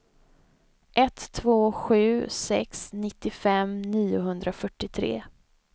ett två sju sex nittiofem niohundrafyrtiotre